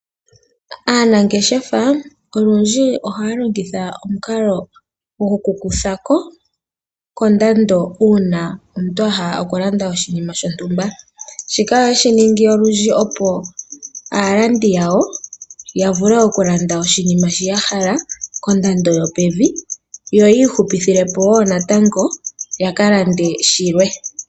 Aanangeshefa olundji ohaya longitha omukalo gwoku kutha ko kondando, uuna omuntu a hala okulanda oshinima shontumba. Ohashi ningwa lundji opo aalandi yawo, ya vule okulanda oshinima shoka ya hala kondando yopevi, yo ya hupithepo natango ya ka lande shilwe.